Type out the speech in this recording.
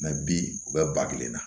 bi u bɛ ba kelen na